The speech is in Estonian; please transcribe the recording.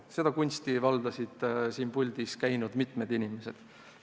Seda kunsti valdas mitu siin puldis käinud inimest.